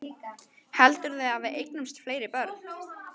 Heldurðu að við eignumst fleiri börn?